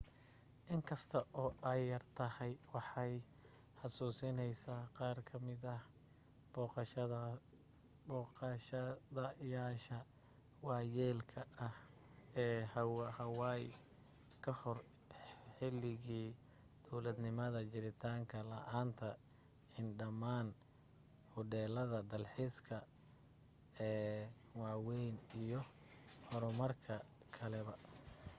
in kasta oo ay yartahay waxay xasuusineysaa qaar ka mid ah booqdayaasha waayeelka ah ee hawaii kahor xiligii dowladnimada jiritaan la'aanta ldhammaan hudheellada dalxiiskaa ee waaweyn iyo horumarka kaleba